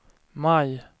maj